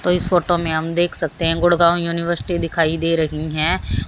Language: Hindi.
इस फोटो में हम देख सकते हैं गुड़गांव यूनिवर्सिटी दिखाई दे रही हैं।